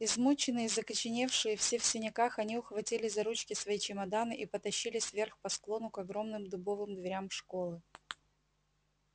измученные закоченевшие все в синяках они ухватили за ручки свои чемоданы и потащились вверх по склону к огромным дубовым дверям школы